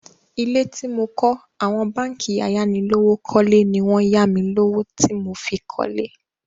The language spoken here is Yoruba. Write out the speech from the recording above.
Ilé tí mo kọ́ àwọn báǹkì ayánilówókọ́lé ni wọ́n ya mi lówó tí mo fi kọ́lé.